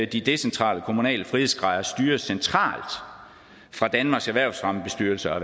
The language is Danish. de decentrale kommunale frihedsgrader styres centralt fra danmarks erhvervsfremmebestyrelse og